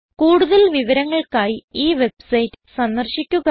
കൂടുതൽ വിവരങ്ങൾക്കായി ഈ വെബ്സൈറ്റ് സന്ദർശിക്കുക